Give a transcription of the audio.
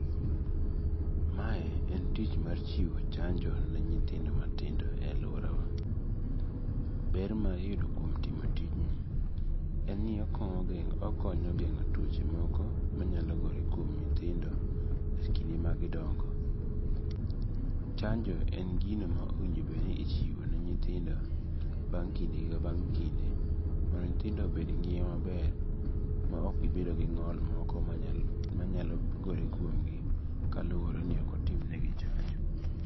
Mae en tich mar chiwo chanjo ne nyithindo matindo e aluorawa, ber ma iyudo kuom timo tijni en ni okonyo gengo' tuoche moko manyalo gore e kuom nyithindo e kinde magidongo. Chanjo en gino ma owinjo bed ni ichiwone nyithindo bang' kinde ka bang' kinde mondo nyithindo obed gi ngima maber ma ok gibedo gi ngo'l moko ma nyalo gore kuomgi kaluore ni okotimnegi chanjo.